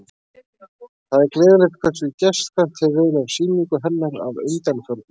Það er gleðilegt hversu gestkvæmt hefur verið á sýningu hennar að undanförnu.